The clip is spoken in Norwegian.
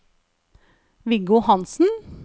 Viggo Hanssen